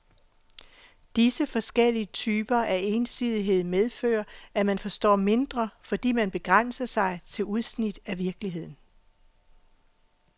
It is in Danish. Disse forskellige typer af ensidighed medfører, at man forstår mindre, fordi man begrænser sig til udsnit af virkeligheden.